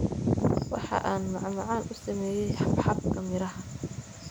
Waxa aan macmacaan u sameeyay xabxabka miraha.